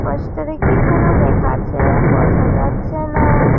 Poster -এ কি যেন লেখা আছে। বোজা যাচ্ছে না।